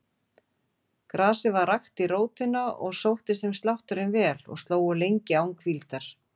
Grasið var rakt í rótina og sóttist þeim slátturinn vel og slógu lengi án hvíldar.